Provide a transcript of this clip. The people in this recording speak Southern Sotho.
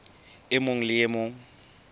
e mong le e mong